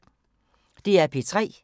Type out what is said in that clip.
DR P3